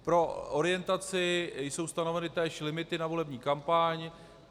Pro orientaci, jsou stanoveny též limity na volební kampaň.